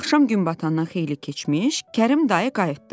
Axşam gün batandan xeyli keçmiş Kərim dayı qayıtdı.